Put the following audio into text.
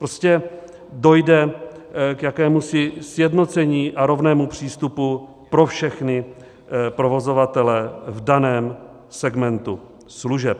Prostě dojde k jakémusi sjednocení a rovnému přístupu pro všechny provozovatele v daném segmentu služeb.